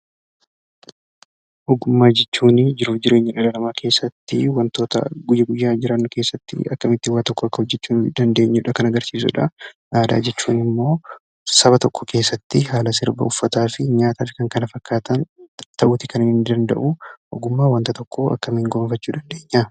Ogummaa jechuunii jiruuf jireenya dhala namaa keessatti wantoota guyya guyyaan jiraannu keessatti akkamittin waan tokko hojjechuu akka dandeenyudha kan agarsiisudha . Aadaa jechuun immoo saba tokko keessatti haala sirba, uffataa fi nyaata fi kan kana fakkaatan ta'uuti kan inni danda'uu. Ogummaa wanta tokkoo akkamiin gonfachuu dandeenya?